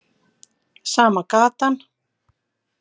Sama gatan.